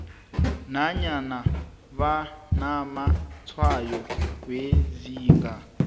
nanyana banamatshwayo wezinga